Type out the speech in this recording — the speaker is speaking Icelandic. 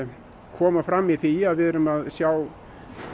koma fram í því að við erum að sjá